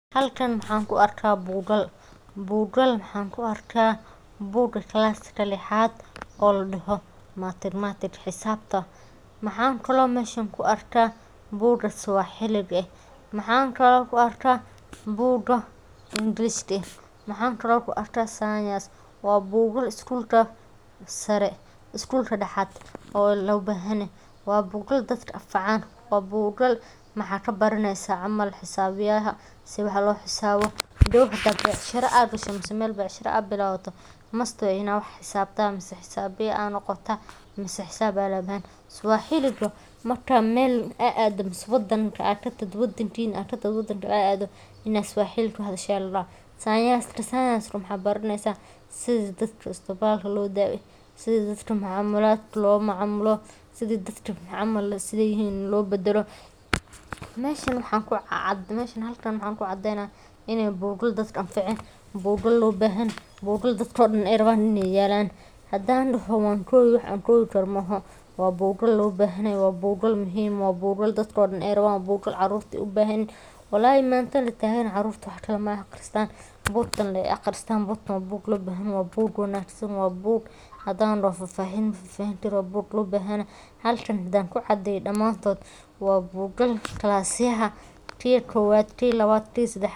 Halkan mxan kuarka bugal, bugal mxan ku arkaa bogal kalaska lixad oo laadoho mathematics, xisabta mxan kale oo an mesha kuarka swaxilga, mxan kale anku arka boga ingiriska, mxan kale oon kuarka science, bugal skulka sare skulka daxat oo lobahanyahay, waa bugal dadka anfacan, waa bugal mxa kabaraneysa camal xisabyaha sidhi wax loxisabo, hadow hadad bicshra aad gasho mise mel becshiro aad bilawdo must waye inaad wax xisaabta mise xisaabiye aa noqotaa mise xisab aya lobahan yahay, Swaxiliga marka mel a ado mise wadankana adkatagto ad wadan kale aad aado inaa swaxiliga ku hadasho la rabaa, sayenska maxad baraneysa sidha dadka istabalka lo dabeyo, sidha dadka loomacamilo, sidha dadka camal sidhay yihin lobadelo, meshan halkan maxa kucadeyna inay dadka bugal anfacan, buqal lobahanyahay, bugal dadka oo dan raban yalan hadan doho wankobi, waxan koobi karo maahan waa bugal loobahanyahay waa buqal lobahanyahay buqal dadko dan raban iney yalan hadan daho wan koobi wax aan kobi karo, mo, oho waa bugal lobahanyahay, waa bugal muhiim, waa bugal dadko dan raban, waa bugal carurta ey u bahan yihiin, walahi mantadan la tagan yahay carurta waxkale ma aqristaan, bugtaan lee aqristaan, waa buug lobahanyahy waa bug wanagsan waa book hadaan daho faa fahin ma fahin karin wa book lobahanyahay, halkan hadaan ku cadeyo damaantot wa bugal kalasyaha ki kowad ki labad kii sedexa .